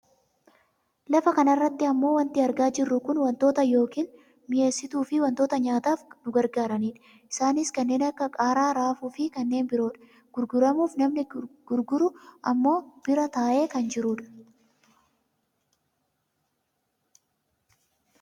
Lafa kanarratti ammoo wanti argaa jirru kun wantoota yookaa. Mi'eessituufi wantoota nyaataaf nu gargaaranidha. Isaanis kanneen akka qaaraa, raafuufi kanneen biroodha. Gurguramuuf namni gurguru ammoo bira taa'ee kan jiru dha.